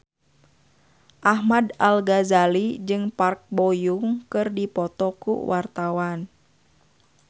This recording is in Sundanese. Ahmad Al-Ghazali jeung Park Bo Yung keur dipoto ku wartawan